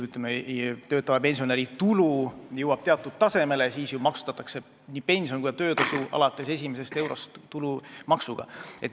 Kui töötava pensionäri tulu jõuab teatud tasemele, siis maksustatakse nii pension kui ka töötasu alates esimesest eurost tulumaksuga.